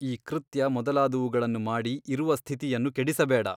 ಈ ಕೃತ್ಯ ಮೊದಲಾದವುಗಳನ್ನು ಮಾಡಿ ಇರುವ ಸ್ಥಿತಿಯನ್ನು ಕೆಡಿಸಬೇಡ.